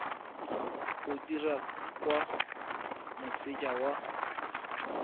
o dirwa kwa moseja wa